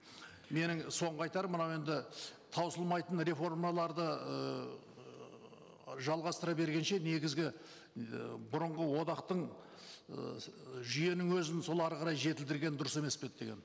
менің соңғы айтарым мынау енді таусылмайтын реформаларды ыыы жалғастыра бергенше негізгі ы бұрынғы одақтың ыыы жүйенің өзін сол ары қарай жетілдірген дұрыс емес пе еді деген